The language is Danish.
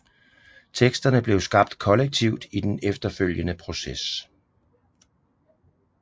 Teksterne blev skabt kollektivt i den efterfølgende proces